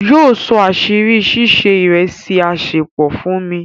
Yíọ só àṣírí sísẹ̀ ìrẹ̀sì àṣẹ̀pọ fún mi.